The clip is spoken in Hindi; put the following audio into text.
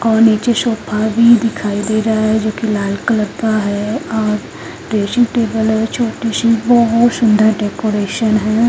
और निचे सोफा भी दिखाई दे रहा है जो की लाल कलर का है और ड्रेसिंग टेबल है जो छोटीसी बहुत सुंदर डेकोरेशन है।